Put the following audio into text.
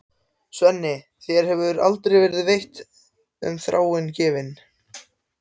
Svenni, þér hefur aldrei verið neitt um Þráin gefið.